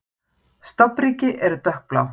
Stofnríki eru dökkblá.